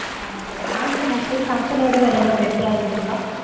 ஆஹ் Samsung okay, samsung விட வேற ஏதாவது better இருக்கா.